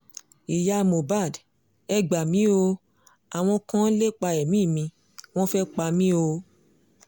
ìyá mohbad ẹ gbà mí o àwọn kan ń lépa ẹ̀mí mi wọ́n fẹ́ pa mí o